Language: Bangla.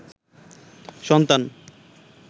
সন্তান